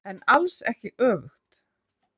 En alls ekki öfugt.